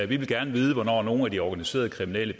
vil gerne vide hvornår nogle af de organiserede kriminelle